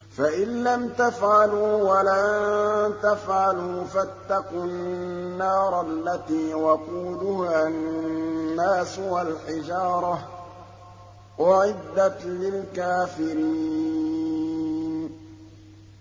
فَإِن لَّمْ تَفْعَلُوا وَلَن تَفْعَلُوا فَاتَّقُوا النَّارَ الَّتِي وَقُودُهَا النَّاسُ وَالْحِجَارَةُ ۖ أُعِدَّتْ لِلْكَافِرِينَ